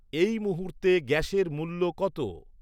এই মুহূর্তে গ্যাসের মূল্য কত